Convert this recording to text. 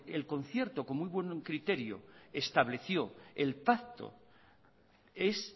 el concierto con muy buen criterio estableció el pacto es